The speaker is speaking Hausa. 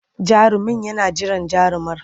Jarumin yana jiran jarumar.